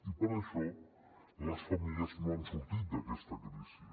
i per això les famílies no han sortit d’aquesta crisi